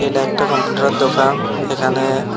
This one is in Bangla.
এটা একটা কম্পিউটারের দোকান এখানে--